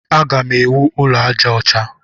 Agam ewu ụlọ aja ọcha.